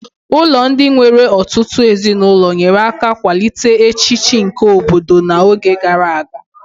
Ụlọ ndị nwere ọtụtụ ezinụlọ nyere aka kwalite echiche nke obodo na oge gara aga